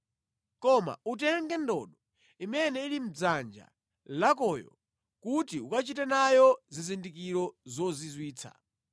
Koma utenge ndodo imene ili mʼdzanja lakoyo kuti ukachite nayo zizindikiro zozizwitsa.”